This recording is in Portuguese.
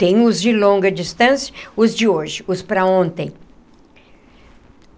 Tenho os de longa distância, os de hoje, os para ontem.